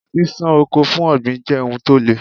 Ṣíṣán oko for ọ̀gbìn jẹ́ ohun tó le.